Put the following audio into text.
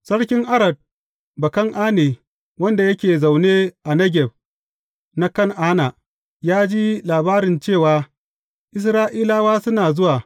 Sarki Arad Bakan’ane, wanda yake zaune a Negeb na Kan’ana, ya ji labari cewa Isra’ilawa suna zuwa.